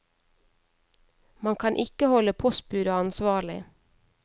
Man kan ikke holde postbudet ansvarlig.